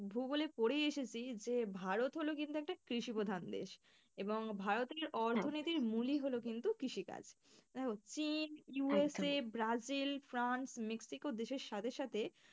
ভূগোলে পড়েই এসেছি যে ভারত হল কিন্তু একটা কৃষি প্রধান দেশ এবং ভারতের অর্থ মুলই হল কিন্তু কৃষিকাজ। দেখো চীন, ব্রাজিল, ফ্রান্স, মেক্সিকো দেশের সাথে সাথে,